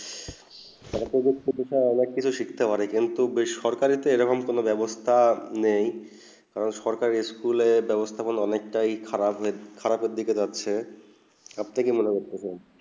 সরকারি তে অনেক কিছু শিখতে পারি কিন্তু বেসরকারি তে এবং কিছু বেবস্তা নেই সরকারি স্কুলে বেবস্তা গুলো অনেক তা হয় খারাব খারাব হয়ে খারাব দিকে যাচ্ছেই আপনি কি মনে করছেন